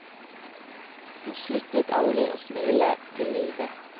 Hun sluttet aldri å smile til livet.